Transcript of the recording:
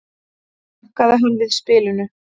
jánkaði hann við spilinu